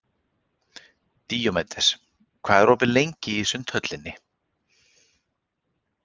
Díómedes, hvað er opið lengi í Sundhöllinni?